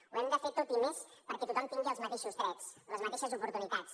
ho hem de fer tot i més perquè tothom tingui els mateixos drets les mateixes oportunitats